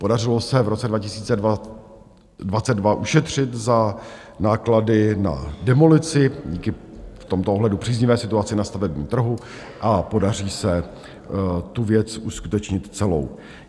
Podařilo se v roce 2022 ušetřit za náklady na demolici díky v tomto ohledu příznivé situaci na stavebním trhu a podaří se tu věc uskutečnit celou.